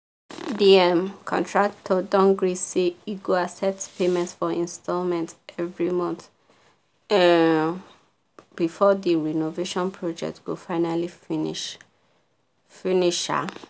the um contractor don gree say e go accept payment for installments every month um before the renovation project go finally finish. finish. um